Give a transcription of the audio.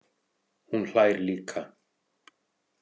Hún hlær líka.